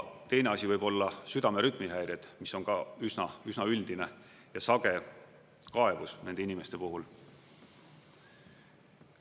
Teine asi võib olla südame rütmihäired, mis on ka üsna üldine ja sage kaebus nende inimeste puhul.